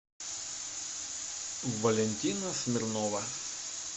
валентина смирнова